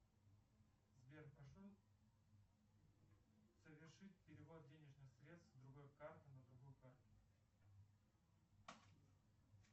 сбер прошу совершить перевод денежных средств с другой карты на другую карту